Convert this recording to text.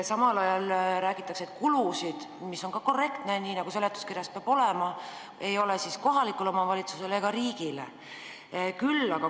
Samal ajal märgitakse kulude kohta – see on ka korrektne, seletuskirjas peabki see info olema –, et kulusid kohalikule omavalitsusele ega riigile ei kaasne.